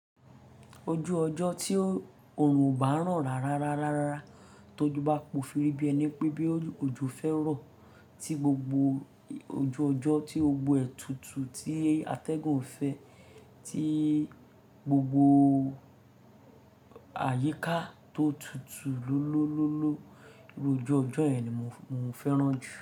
Ojú ọjọ́ tí oòrùn ò bá ran rárá rárá rárá tó ju bá po firí bí ẹni pé bí ojú fẹ́ rọ̀ tí gbogbo ojú ọjọ́ tí gbogbo ètùtù tí atẹ́gùn fẹ́, tí gbogbo àyíká tó tutù lólólóló iru ojú ọjọ́ yẹn ni mò fẹ́ràn jù.